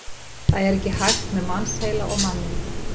Það er ekki hægt með mannsheila og manninn.